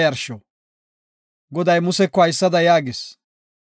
Goday Museko haysada yaagis;